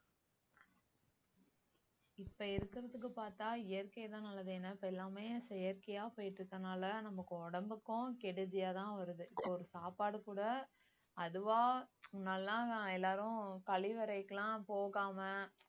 இப்ப இருக்கிறதுக்கு பார்த்தா இயற்கைதான் நல்லது ஏன்னா இப்ப எல்லாமே செயற்கையா போயிட்டுருக்கனால நமக்கு உடம்புக்கும் கெடுதியா தான் வருது ஒரு சாப்பாடு கூட அதுவா நல்லா எல்லாரும் கழிவறைகெல்லாம் போகாம